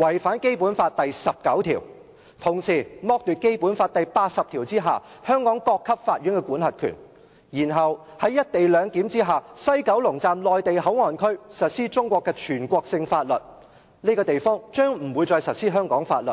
違反《基本法》第十九條，並同時剝奪《基本法》第八十條下香港各級法院的管轄權；然後在"一地兩檢"下，西九龍站內地口岸區實施中國的全國性法律，而不是香港法律。